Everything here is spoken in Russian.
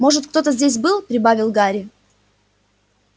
может кто-то здесь был прибавил гарри